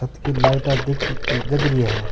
कद की लाइटा दिख जग री है।